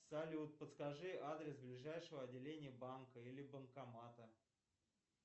салют подскажи адрес ближайшего отделения банка или банкомата